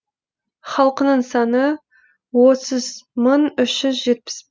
халқының саны отыз мың үш жүз жетпіс